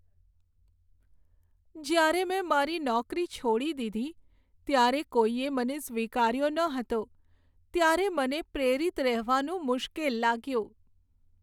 જ્યારે મેં મારી નોકરી છોડી દીધી ત્યારે કોઈએ મને સ્વીકાર્યો ન હતો ત્યારે મને પ્રેરિત રહેવાનું મુશ્કેલ લાગ્યું.